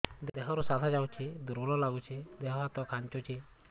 ଦେହରୁ ସାଧା ଯାଉଚି ଦୁର୍ବଳ ଲାଗୁଚି ଦେହ ହାତ ଖାନ୍ଚୁଚି